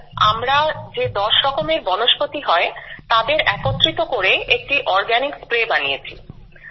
sir আমরা যে দশ রকমের বনস্পতি হয় তাদের একত্রিত করে একটি অর্গানিক স্প্রে বানিয়েছি